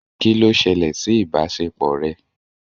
Kí ló ṣẹlẹ̀ sí ìbáṣepọ̀ rẹ?